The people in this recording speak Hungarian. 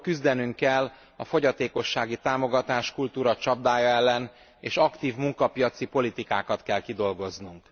Ugyanakkor küzdenünk kell a fogyatékossági támogatáskultúra csapdája ellen, és aktív munkapiaci politikákat kell kidolgoznunk.